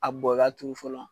A bɔn i ka turu fɔlɔ.